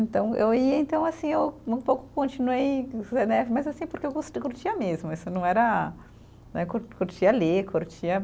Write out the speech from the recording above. Então, eu ia, então, assim, eu um pouco continuei né, mas assim, porque eu gos, eu curtia mesmo, isso não era né, curtia ler, curtia